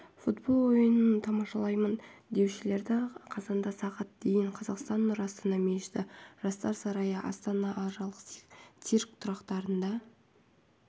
футбол ойынын тамашалаймын деушілерді қазанда сағат дейін қазақстан нұр астана мешіті жастар сарайы астаналық цирк тұрақтарында